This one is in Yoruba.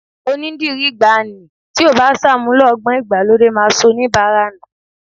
Onídìrí ìgbàanì tí ò bá ṣàmúlò ọgbọ́n ìgbàlódé máa sọ oníbàárà nù